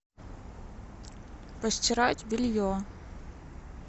постирать белье